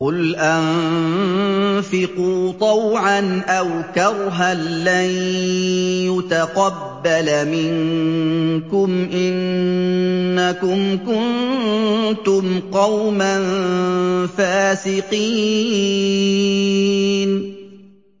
قُلْ أَنفِقُوا طَوْعًا أَوْ كَرْهًا لَّن يُتَقَبَّلَ مِنكُمْ ۖ إِنَّكُمْ كُنتُمْ قَوْمًا فَاسِقِينَ